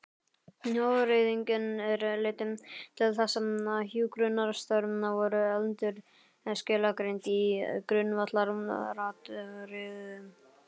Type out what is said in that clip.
Hagræðingin leiddi til þess að hjúkrunarstörf voru endurskilgreind í grundvallaratriðum.